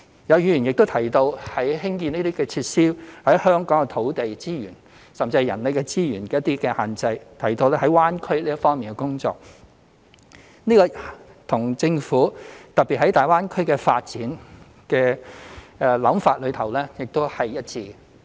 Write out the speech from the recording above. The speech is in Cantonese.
有議員也提到，興建這些設施在香港受土地資源，甚至是人力資源的限制，並提到在粵港澳大灣區這方面的工作，這與政府特別就大灣區發展的想法是一致。